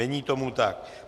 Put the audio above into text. Není tomu tak.